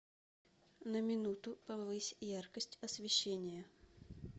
на минуту повысь яркость освещения